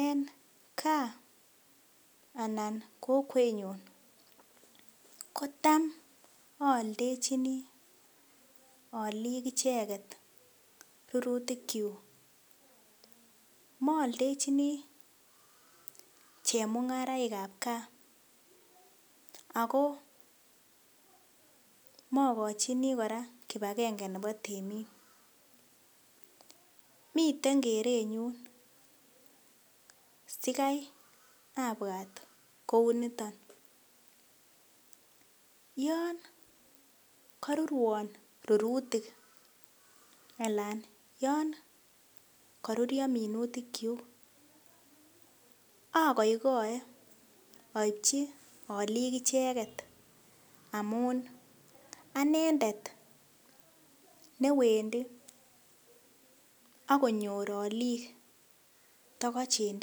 En gaa anan kokwenyun, kotam aaldechin aalik icheket rurutikyuk, mooldechin chemung'araikab gaa akoo mokochin kora kipakenge nebo temik miten kerenyun sikai abwat kounito, yon korurwon rurutik alan yon karurio minutikyuk akoikoe aipchi aalik icheket amun anendet newendi akonyor aalik tokoch en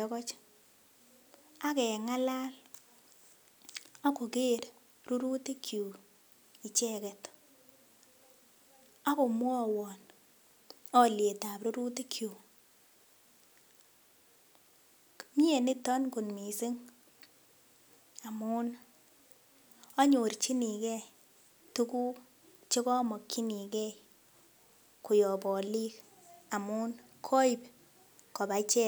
tokoch akeng'alal akoker rurutikyuk icheket akomwowon alyetab rurutikyuk, mie niton kot missing amun anyorchinikee tuguk chekomokyinigee koyop aalik amun koip kobaa icheket.